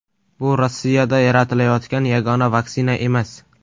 Bu Rossiyada yaratilayotgan yagona vaksina emas.